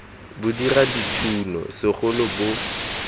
bo dira dithuno segolo bo